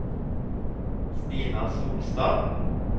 Stina Solstad